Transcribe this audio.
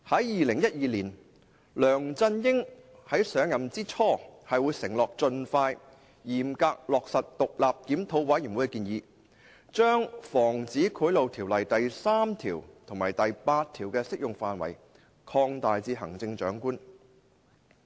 2012年，梁振英在上任之初承諾會盡快、嚴格落實獨立檢討委員會的建議，將《防止賄賂條例》第3條及第8條的適用範圍擴大至行政長官。